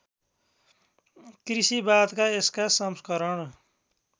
कृषिवादका यसका संस्करण